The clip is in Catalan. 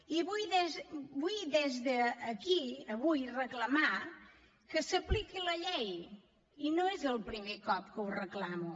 i vull des d’aquí avui reclamar que s’apliqui la llei i no és el primer cop que ho reclamo